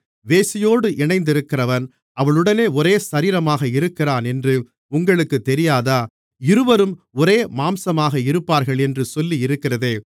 வேசியோடு இணைந்திருக்கிறவன் அவளுடனே ஒரே சரீரமாக இருக்கிறானென்று உங்களுக்குத் தெரியாதா இருவரும் ஒரே மாம்சமாக இருப்பார்கள் என்று சொல்லியிருக்கிறதே